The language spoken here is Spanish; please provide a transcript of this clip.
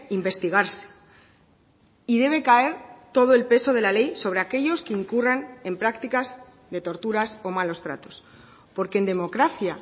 investigarse y debe caer todo el peso de la ley sobre aquellos que incurran en prácticas de torturas o malos tratos porque en democracia